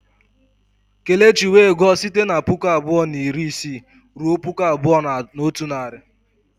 Kelechi wee gụọ site na puku abụọ na iri isii ruo puku abụọ na otu narị.